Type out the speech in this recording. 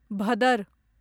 भदर